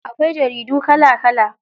Akwai jaridu kala kala.